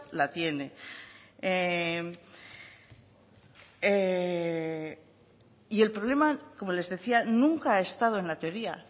la tiene y el problema como les decía nunca ha estado en la teoría